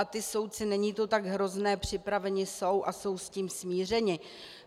A ti soudci, není to tak hrozné, připraveni jsou a jsou s tím smířeni.